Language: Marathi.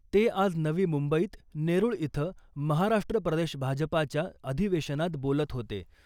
ते आज नवी मुंबईत नेरूळ इथं महाराष्ट्र प्रदेश भाजपाच्या अधिवेशनात बोलत होते .